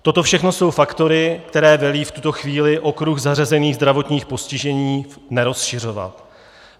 Toto všechno jsou faktory, které velí v tuto chvíli okruh zařazených zdravotních postižení nerozšiřovat.